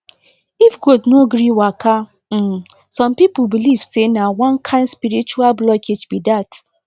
if goat no gree waka um some people believe say na one kind spiritual blockage be that